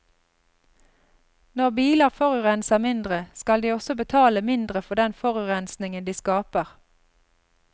Når biler forurenser mindre, skal de også betale mindre for den forurensningen de skaper.